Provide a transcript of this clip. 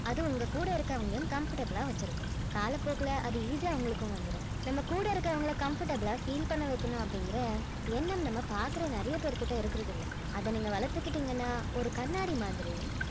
அது உங்க கூட இருக்கிறவங்களையும் comfortable ஆ வெச்சிருக்கும் காலப்போக்குல அது easy ஆ உங்களுக்கும் வந்துரும் நம்ம கூட இருக்கிறவங்கள comfortable ஆ feel பண்ண வைக்கணும் அப்படிங்கிற எண்ணம் நம்ம பாக்குற நிறைய பேர் கிட்ட இருக்கிறதில்ல அத நீங்க வளர்த்துக்கிட்டீங்கன்னா ஒரு கண்ணாடி மாதிரி